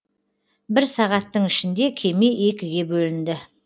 бір сағаттың ішінде кеме екіге бөлінді